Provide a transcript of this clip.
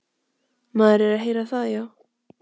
Maður er að heyra það, já.